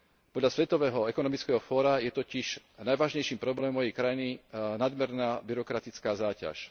Podľa Svetového ekonomického fóra je totiž najvážnejším problémom mojej krajiny nadmerná byrokratická záťaž.